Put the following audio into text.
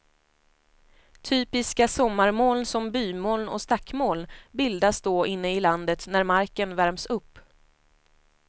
Typiska sommarmoln som bymoln och stackmoln bildas då inne i landet när marken värms upp.